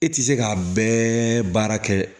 E tɛ se k'a bɛɛ baara kɛ